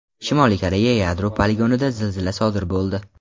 Shimoliy Koreya yadro poligonida zilzila sodir bo‘ldi.